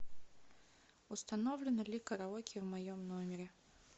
установлено ли караоке в моем номере